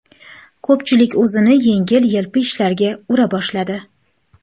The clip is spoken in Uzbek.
Ko‘pchilik o‘zini yengil-yelpi ishlarga ura boshladi.